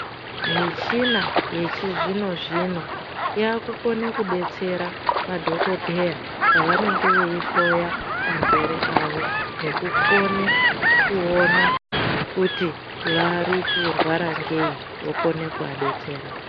Michina yechizvino zvino yakukone kudetsera madhokodheya pavanenge veihloya arwere awo nekukone kuona kuti varikurwara ngei vokone kuvadetsera.